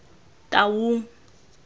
taung